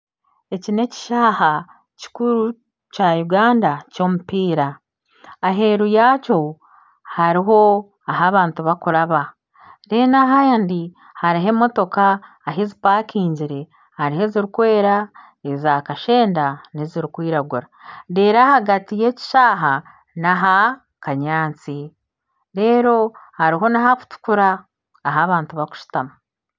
Eki n'ekishayi kikuru kya Uganda ky’omupiira aheeru yaakyo hariho ahu bantu bakuraba reeru ahandi hariho emotooka ahu zipakingire hariho ezirikwera, eza kashenda n'ezirikwiragura reeru ahagati y'ekishaayi n'aha kanyaatsi reeru hariho n'aha kutukura ahu abantu bakushutama.